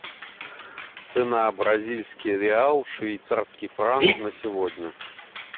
цена бразильский реал швейцарский франк на сегодня